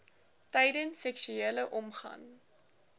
tydens seksuele omgang